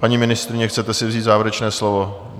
Paní ministryně, chcete si vzít závěrečné slovo?